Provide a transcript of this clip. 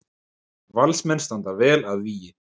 Valsmenn standa vel að vígi